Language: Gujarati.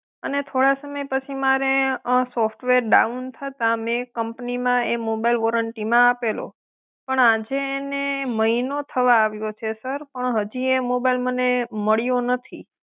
અને થોડા સમય પછી મારે સોફ્ટવેર ડાઉન થતા મેં કંપનીમાં એ મોબાઈલ વોરંટીમાં આપેલો, પણ આજે એને મહિનો થવા આવ્યો છે સર પણ હજી એ મોબાઈલ મને મળ્યો નથી.